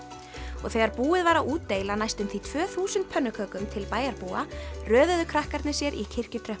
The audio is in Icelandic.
og þegar búið var að útdeila næstum því tvö þúsund pönnukökum til bæjarbúa röðuðu krakkarnir sér í